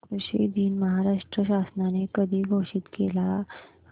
कृषि दिन महाराष्ट्र शासनाने कधी घोषित केला आहे